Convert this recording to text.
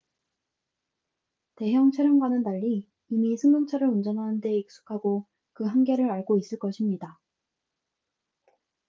대형 차량과는 달리 이미 승용차를 운전하는 데 익숙하고 그 한계를 알고 있을 것입니다